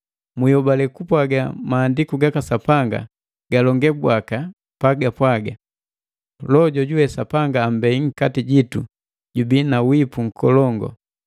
Mwiholale kupwaga Maandiku gaka Sapanga galonge bwaka, pagapwaga, “Loho jojuwe Sapanga ammbei nkati jitu jubii na wipu nkolongu.”